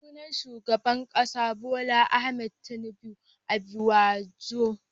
Sunan shugaban kasa Bola Ahmed Tinibu Asiwaju.